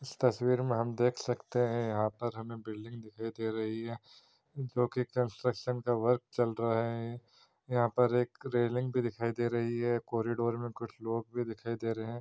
इस तस्वीर में हम यहाँ पर देख सकते है यहाँ पर हमें बिल्डिंग दिखाई दे रही है जो कि कंस्ट्रक्शन का वर्क चल रहे है यहाँ पर एक रेलिंग भी दिखाई दे रही है कॉरिडोर में कुछ लोग भी दिखाई दे रहे है।